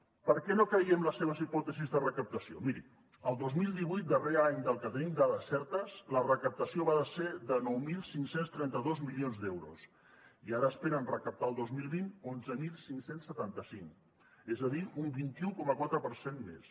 per què no creiem les seves hipòtesis de recaptació miri el dos mil divuit darrer any del qual tenim dades certes la recaptació va ser de nou mil cinc cents i trenta dos milions d’euros i ara n’esperen recaptar el dos mil vint onze mil cinc cents i setanta cinc és a dir un vint un coma quatre per cent més